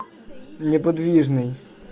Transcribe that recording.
неподвижный